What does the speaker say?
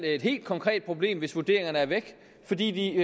et helt konkret problem hvis vurderingerne er væk fordi de